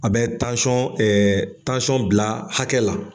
A bɛ ɛɛ bila hakɛ la.